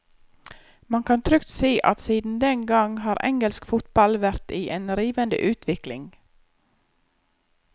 Man kan trygt si at siden den gang har engelsk fotball vært i en rivende utvikling.